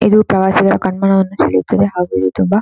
ಇದು ಪ್ರವಾಸಿಗರ ಕಣ್ಮನವನ್ನು ಸೆಳೆಯುತದೆ ಹಾಗು ಇದು ತುಂಬಾ--